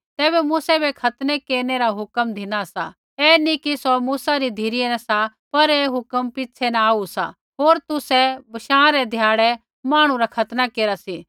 तैबै मूसै बै खतना केरनै री हुक्म धिनी सा ऐ न कि सौ मूसा री धिरै न सा पर ऐ हुक्म पिछ़ै न आऊ सा होर तुसै बशाँ रै ध्याड़ै मांहणु रा खतना केरा सी